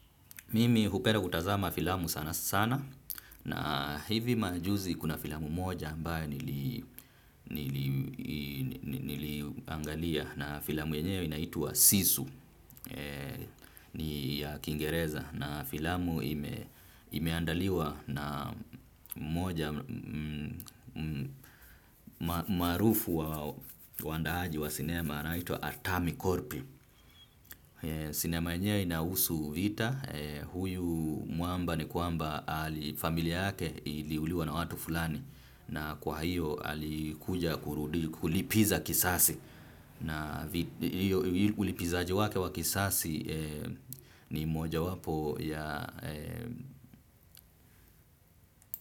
Mimi hupenda kutazama filamu sana sana na hivi majuzi kuna filamu moja ambayo nili niliangalia na filamu yenyewe inaitwa Sisu ni ya Kingereza na filamu imeandaliwa na maarufu wa wandaaji wa sinema anaitwa Atami Korpi. Sinema yenyewe inahusu vita, huyu mwamba ni kwamba familia yake iliuliwa na watu fulani na kwahiyo alikuja kulipiza kisasi na ulipizaji wake wa kisasi ni moja wapo ya.